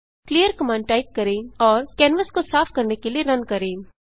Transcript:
clear command type करें और canvas को साफ करने के लिए रन करें